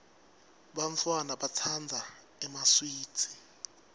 bantfwana batsandza emaswidi